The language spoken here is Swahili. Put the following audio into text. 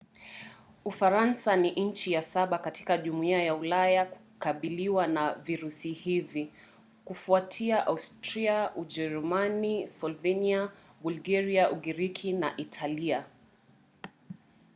ufaransa ni nchi ya saba katika jumuiya ya ulaya kukabiliwa na virusi hivi; kufuatia austria ujerumani slovenia bulgaria ugiriki na italia